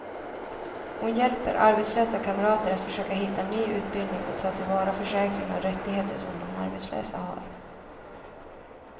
Hon hjälper arbetslösa kamrater att försöka hitta ny utbildning och ta till vara försäkringar och rättigheter som de som arbetslösa har.